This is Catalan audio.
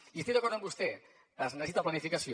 i estic d’acord amb vostè es necessita planificació